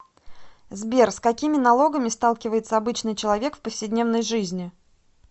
сбер с какими налогами сталкивается обычный человек в повседневной жизни